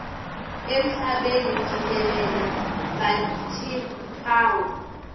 emhlabeni jikelele batimphawu